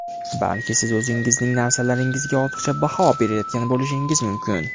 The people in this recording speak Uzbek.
Balki siz o‘zingizning narsalaringizga ortiqcha baho berayotgan bo‘lishingiz mumkin.